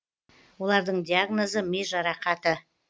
олардың диагнозы ми жарақаты